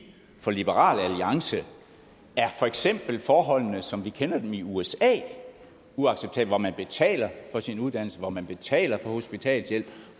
for liberal alliance er for eksempel forholdene som vi kender dem i usa uacceptable hvor man betaler for sin uddannelse hvor man betaler for hospitalshjælp